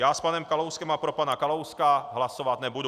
Já s panem Kalouskem a pro pana Kalouska hlasovat nebudu.